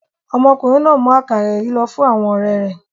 Ọmọkùnrin náà ń mú àkàrà yìí lọ fún àwọn ọ̀rẹ́ rẹ̀.